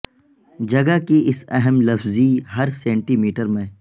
جگہ کی اس اہم لفظی ہر سینٹی میٹر میں